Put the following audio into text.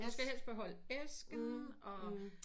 Du skal helst beholde æsken og